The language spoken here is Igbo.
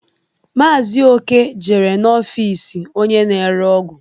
Maazi Oke jere n'ọfịs onye na-ere ọgwụ.